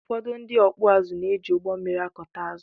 ụfọdụ ndị ọkụ ázụ na-éji ụgbọmmiri ákùtá ázụ